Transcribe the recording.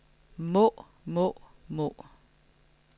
må må må